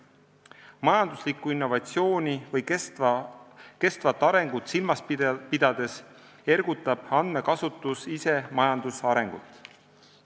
Majanduslikku innovatsiooni või kestvat arengut silmas pidades ergutab andmekasutus ise majanduse arengut.